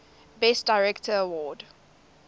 best director award